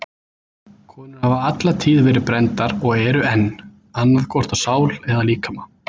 Konur hafa alla tíð verið brenndar og eru enn, annað hvort á sál eða líkama.